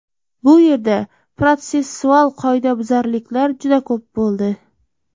Bu yerda protsessual qoidabuzarliklar juda ko‘p bo‘ldi.